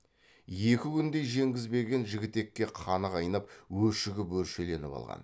екі күндей жеңгізбеген жігітекке қаны қайнап өшігіп өршеленіп алған